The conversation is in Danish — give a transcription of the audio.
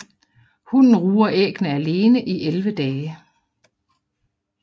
Hunnen ruger æggene alene i 11 dage